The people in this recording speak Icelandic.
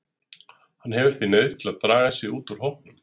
Hann hefur því neyðst til að draga sig út úr hópnum.